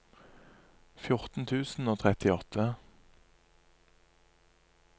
fjorten tusen og trettiåtte